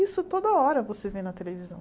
Isso toda hora você vê na televisão.